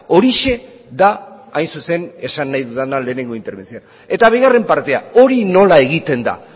horixe da hain zuzen esan nahi dudan lehenengo interbentzioan eta bigarren partea hori nola egiten da